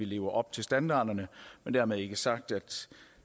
lever op til standarderne men dermed ikke sagt at